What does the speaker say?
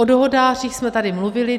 O dohodářích jsme tady mluvili.